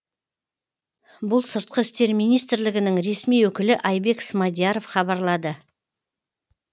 бұл сыртқы істер министрлігінің ресми өкілі айбек смадияров хабарлады